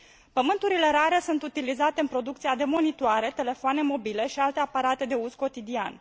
Pământurile rare sunt utilizate în producția de monitoare, telefoane mobile și alte aparate de uz cotidian.